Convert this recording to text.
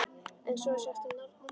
En svo er sagt um nornir.